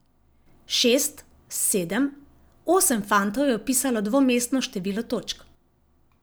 Šest, sedem, osem fantov je vpisalo dvomestno število točk.